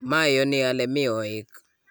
mayoni ale mi ooik